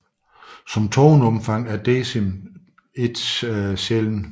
Som toneomfang er decim dog ikke sjælden